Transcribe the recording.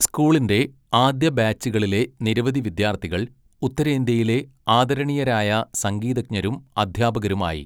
സ്കൂളിൻ്റെ ആദ്യ ബാച്ചുകളിലെ നിരവധി വിദ്യാർത്ഥികൾ ഉത്തരേന്ത്യയിലെ ആദരണീയരായ സംഗീതജ്ഞരും അധ്യാപകരുമായി.